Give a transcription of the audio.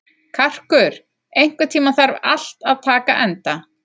Karkur, einhvern tímann þarf allt að taka enda.